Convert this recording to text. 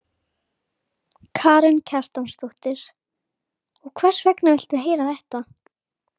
Karen Kjartansdóttir: Og hvers vegna viltu heyra þetta?